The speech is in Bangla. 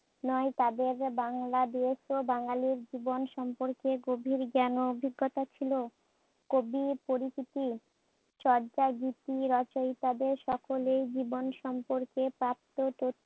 নয় তাদের বাংলাদেশ ও বাঙ্গালীর জীবন সম্পর্কে গভীর জ্ঞান ও অভিজ্ঞতা ছিল। কবি পরিচিতি চর্যা গীতি রচয়িতাদের সকলেই জীবন সম্পর্কে প্রাপ্ত তথ্য